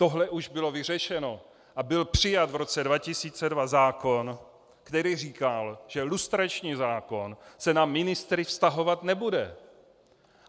Tohle už bylo vyřešeno a byl přijat v roce 2002 zákon, který říkal, že lustrační zákon se na ministry vztahovat nebude.